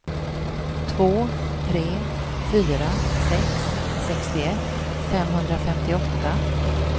två tre fyra sex sextioett femhundrafemtioåtta